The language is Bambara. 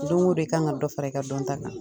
Doŋo do i ka ŋa dɔ fara i ka dɔnta kan.